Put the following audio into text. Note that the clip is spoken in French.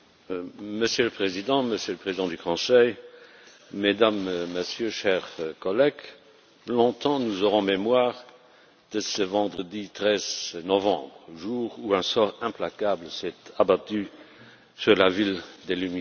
Monsieur le Président, Monsieur le Président du Conseil, Mesdames et Messieurs, chers collègues, longtemps nous aurons en mémoire ce vendredi 13 novembre, jour où un sort implacable s'est abattu sur la ville des lumières.